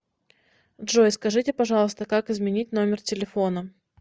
джой скажите пожалуйста как изменить номер телефона